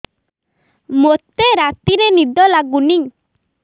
ମୋତେ ରାତିରେ ନିଦ ଲାଗୁନି